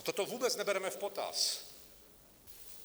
A toto vůbec nebereme v potaz.